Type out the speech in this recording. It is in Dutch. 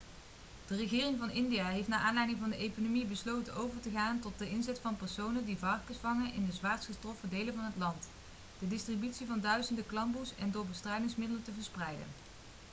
de regering van india heeft naar aanleiding van de epidemie besloten over te gaan tot de inzet van personen die varkens vangen in de zwaarst getroffen delen van het land de distributie van duizenden klamboes en door bestrijdingsmiddelen te verspreiden